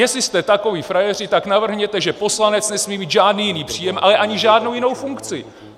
Jestli jste takoví frajeři, tak navrhněte, že poslanec nesmí mít žádný jiný příjem, ale ani žádnou jinou funkci.